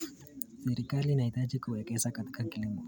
Serikali inahitaji kuwekeza katika kilimo.